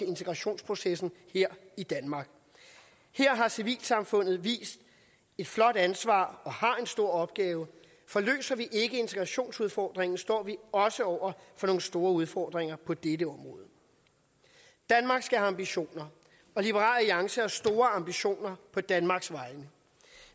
integrationsprocessen her i danmark her har civilsamfundet vist et flot ansvar og har en stor opgave for løser vi ikke integrationsudfordringen står vi også over for nogle store udfordringer på dette område danmark skal have ambitioner og liberal alliance har store ambitioner på danmarks vegne